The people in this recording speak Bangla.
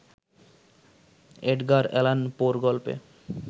এড্গার অ্যালান পো-র গল্পে